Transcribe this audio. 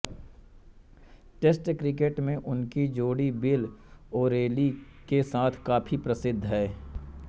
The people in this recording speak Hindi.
टेस्ट क्रिकेट में उनकी जोड़ी बिल ओरेली के साथ काफ़ी प्रसिद्ध है